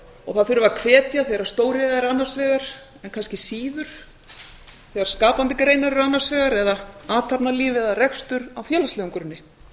og það þurfi að hvetja þegar stóriðja er annars vegar en kannski síður þegar skapandi greinar eru annars vegar eða athafnalíf eða rekstur á félagslegum grunni